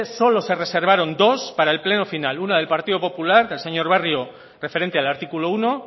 solo se reservaron dos para el pleno final una del partido popular del señor barrio referente al artículo uno